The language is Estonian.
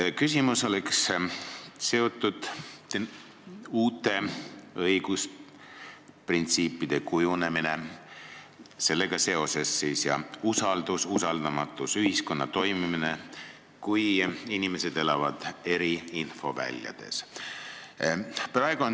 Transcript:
Minu küsimus on seotud uute õigusprintsiipide kujunemisega, usalduse ja usaldamatusega, ühiskonna toimimisega, kui inimesed elavad eri infoväljades.